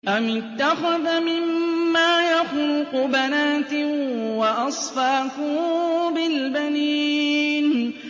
أَمِ اتَّخَذَ مِمَّا يَخْلُقُ بَنَاتٍ وَأَصْفَاكُم بِالْبَنِينَ